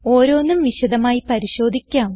ഓരോന്നും വിശദമായി പരിശോധിക്കാം